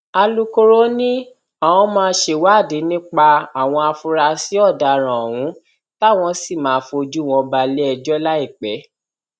alūkkóró ni àwọn máa ṣèwádìí nípa àwọn afurasí ọdaràn ohun táwọn sì máa fojú wọn balẹẹjọ láìpẹ